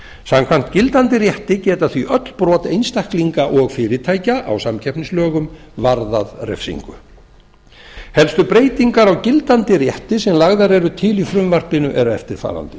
samkvæmt gildandi rétti geta því öll brot einstaklinga og fyrirtækja á samkeppnislögum varðað refsingu helstu breytingar á gildandi rétti sem lagðar eru til í frumvarpinu eru eftirfarandi